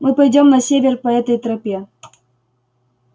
мы пойдём на север по этой тропе